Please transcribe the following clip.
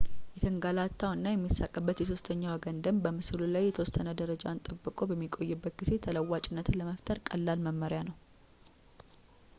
የተንገላታው እና የሚሳቅበት የሦስተኛ ወገን ደንብ በምስሉ ላይ የተወሰነ ደረጃን ጠብቆ በሚቆይበት ጊዜ ተለዋዋጭነትን ለመፍጠር ቀላል መመሪያ ነው